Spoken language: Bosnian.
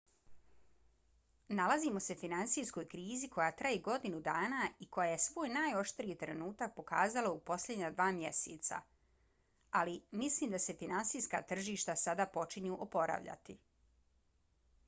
nalazimo se finansijskoj krizi koja traje godinu dana i koja je svoj najoštriji trenutak pokazala u posljednja dva mjeseca ali mislim da se finansijska tržišta sada počinju oporavljati.